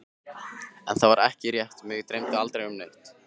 En það var ekki rétt, mig dreymdi aldrei neitt.